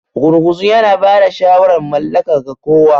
Gurguzu yana ba da shawarar mallaka ga kowa.